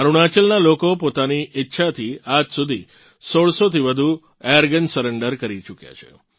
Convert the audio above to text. અરુણાચલનાં લોકો પોતાની ઇચ્છાથી આજ સુધી 1600થી પણ વધુ એરગન સરેંડર કરી ચુક્યાં છે